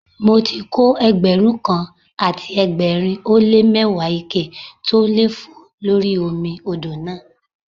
Mo ti kó Ẹgbẹ̀rún kan àti ẹgbẹ̀rin ó lé mẹ́wàá ike tó ń lé fòó lórí omi odò náà.